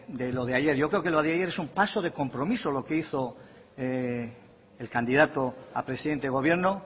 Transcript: de lo de ayer yo creo que lo de ayer es un paso de compromiso lo que hizo el candidato a presidente de gobierno